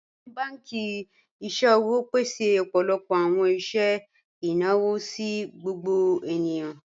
Awọn bankì iṣẹ̀wò pèsè ọpọlọpọ awọn iṣẹ̀ ináwọ̀ sí gbogbo ènìyàn.